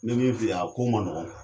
N be min fi'iye ako ma nɔgɔn kuwa